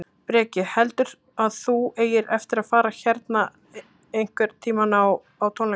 Breki: Heldurðu að þú eigir eftir að fara hérna einhvern tímann á, á tónleika?